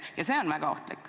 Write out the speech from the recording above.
Ja see on väga ohtlik.